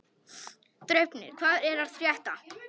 Draupnir, hvað er að frétta?